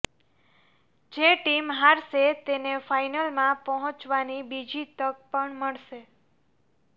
જે ટીમ હારશે તેને ફાઇનલમાં પહોંચવાની બીજી તક પણ મળશે